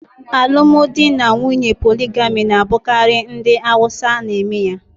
Alụmdi na nwunye poligami na-abụkarị ndị Awusa n'eme ya